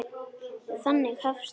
Já, þannig hefst hún.